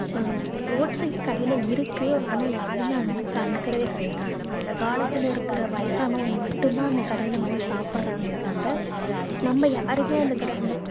அஹ் roadside கடையில இருக்கு ஆனா யாருமே அதை வந்து கண்டுக்கிறதே கிடையாது அந்த காலத்துல இருக்கிற வயசானவங்க மட்டும்தான் அந்த கடையில வந்து சாப்பிடுறாங்களே தவிர நம்ம யாருமே அந்த கடை அந்த